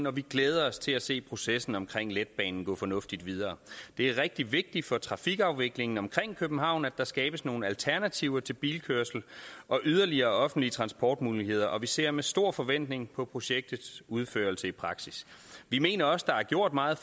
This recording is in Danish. og vi glæder os til at se processen omkring letbanen gå fornuftigt videre det er rigtig vigtigt for trafikafviklingen omkring københavn at der skabes nogle alternativer til bilkørsel og yderligere offentlige transportmuligheder og vi ser med stor forventning på projektets udførelse i praksis vi mener også der er gjort meget